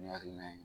Nin hakilina ye